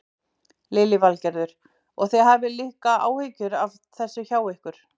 Lillý Valgerður: Og þið hafið líka áhyggjur af þessu hjá ykkur?